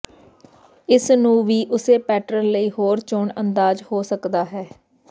ਇਸ ਨੂੰ ਵੀ ਉਸੇ ਪੈਟਰਨ ਲਈ ਹੋਰ ਚੋਣ ਅੰਦਾਜ਼ ਹੋ ਸਕਦਾ ਹੈ